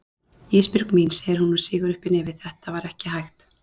Ísbjörg mín, segir hún og sýgur uppí nefið, þetta var ekki hægt.